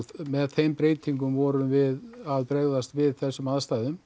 með þeim breytingum vorum við að bregðast við þessum aðstæðum